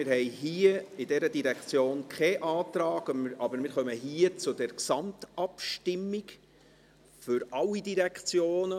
Wir haben bei dieser Direktion keinen Antrag, aber wir kommen hier zur Gesamtabstimmung für alle Direktionen.